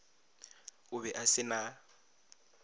o be a se na